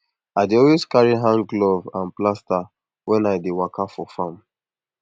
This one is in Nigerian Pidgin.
i dey always carry hand glove and plaster when i dey waka go farm